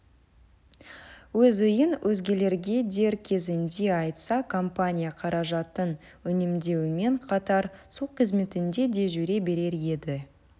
өз ойын өзгелерге дер кезінде айтса компания қаражатын үнемдеумен қатар сол қызметінде де жүре берер еді